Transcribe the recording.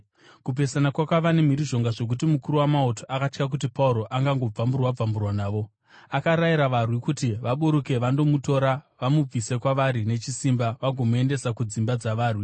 Kupesana kwakava nemhirizhonga zvokuti mukuru wamauto akatya kuti Pauro angangobvamburwa-bvamburwa navo. Akarayira varwi kuti vaburuke vandomutora vamubvise kwavari nechisimba vagomuendesa kudzimba dzavarwi.